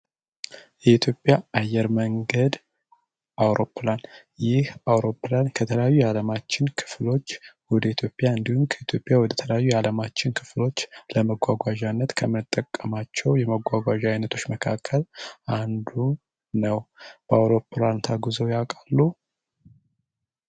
የኢትዮጵያ አየር መንገድ አውሮፕላን የአውሮፕላን ከተለያዩ የዓለማችን ክፍሎች ወደ ኢትዮጵያ እንዲሁም ከኢትዮጵያ ወደ ተለያዩ የዓለም ክፍሎች ከምንጓጓዝባቸው መጓጓዣዎች መካከል አንዱ ነው በአውሮፕላን ተጉዘው ያውቃሉ?